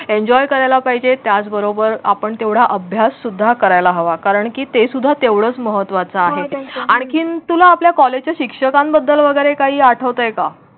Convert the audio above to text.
Enjoy करायला पाहिजे. त्याचबरोबर आपण तेवढा अभ्याससुद्धा करायला हवा. कारण की ते सुद्धा तेवढाच महत्त्वाचा आहे. आणखीन तुला आपल्या कॉलेज शिक्षकांबद्दल वगैरे काही आठवतय का?